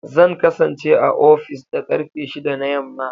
Zan kasance a ofis da karfe shida na yamma.